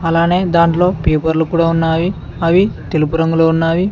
అలానే దాంట్లో పేపర్లు కూడా ఉన్నావి అవి తెలుపు రంగులో ఉన్నావి.